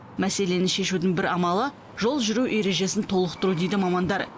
мәселені шешудің бір амалы жол жүру ережесін толықтыру дейді мамандар